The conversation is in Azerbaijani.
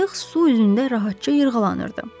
Qayıq su üzündə rahatca yırğalanırdı.